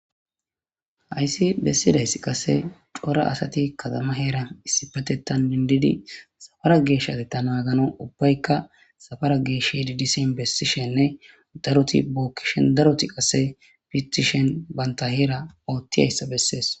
Hayssi bessidayssi qase cora asati katama heera issipatetan dindidi safara geeshati ta naagano ubbaykka safara geesh hedidisen bessishenne daroti bookkishen daroti asse pitishen banta heera oottiyayssa bessees.